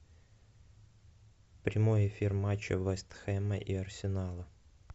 прямой эфир матча вест хэма и арсенала